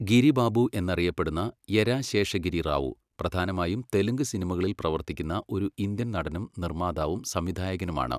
ഗിരി ബാബു എന്നറിയപ്പെടുന്ന യെരാ ശേഷഗിരി റാവു, പ്രധാനമായും തെലുങ്ക് സിനിമകളിൽ പ്രവർത്തിക്കുന്ന ഒരു ഇന്ത്യൻ നടനും നിർമ്മാതാവും സംവിധായകനുമാണ്.